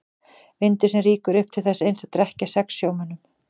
Vindur sem rýkur upp til þess eins að drekkja sex sjómönnum.